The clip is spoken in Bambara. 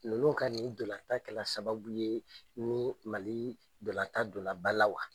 Ninnu ka nin dɔlata kɛla sababu ye nii Mali dɔlata dola ba la wa?